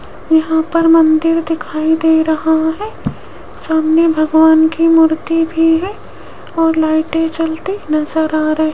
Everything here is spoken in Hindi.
यहां पर मंदिर दिखाई दे रहा है सामने भगवान की मूर्ति भी है और लाइटें जलती नजर आ र --